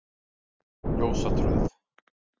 Ljósatröð